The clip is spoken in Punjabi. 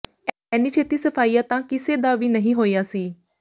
ਐਨੀ ਛੇਤੀ ਸਫਾਇਆ ਤਾਂ ਕਿਸੇ ਦਾ ਵੀ ਨਹੀਂ ਹੋਇਆ ਸੀ